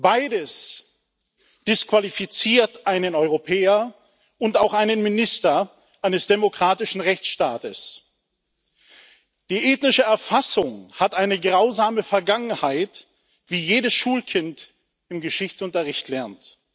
Beides disqualifiziert einen Europäer und auch einen Minister eines demokratischen Rechtsstaates. Die ethnische Erfassung hat eine grausame Vergangenheit, wie jedes Schulkind im Geschichtsunterricht lernt.